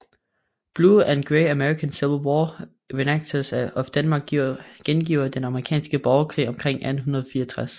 Blue and Gray American Civil War Reenactors of Denmark gengiver Den Amerikanske Borgerkrig omkring 1864